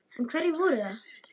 En hverjir voru það?